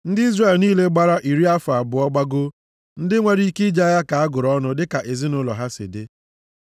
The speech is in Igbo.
Ndị Izrel niile gbara iri afọ abụọ gbagoo, ndị nwere ike ije agha ka a gụrụ ọnụ dịka ezinaụlọ ha si dị.